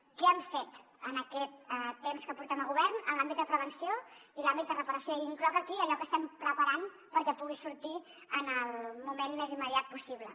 què hem fet en aquest temps que portem a govern en l’àmbit de prevenció i l’àmbit de reparació i incloc aquí allò que estem preparant perquè pugui sortir en el moment més immediat possible